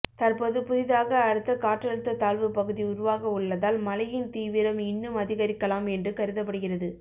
தற்போது புதிதாக அடுத்த காற்றழுத்த தாழ்வு பகுதி உருவாக உள்ளதால் மழையின் தீவிரம் இன்னும் அதிகரிக்கலாம் என்று கருதப்படுகிறது